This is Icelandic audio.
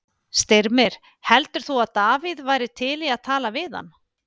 Styrmir, heldur þú að Davíð væri til í að tala við hann?